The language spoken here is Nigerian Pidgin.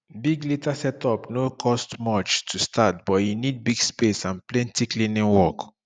deep litter setup no cost much to start but e need big space and plenty cleaning work